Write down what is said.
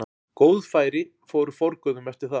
Góð færi fóru forgörðum eftir það.